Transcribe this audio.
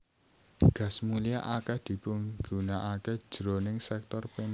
Gas mulia akèh dipigunakaké jroning sèktor perindustrian